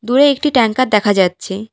দূরে একটি ট্যাঙ্কার দেখা যাচ্ছে।